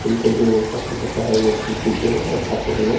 जिनको जो पसंद होता है वो चीज पीते है और खाते है लोग।